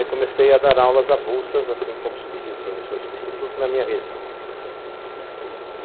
Aí comecei a dar aulas avulsas, assim como substi professor substituto, na minha região.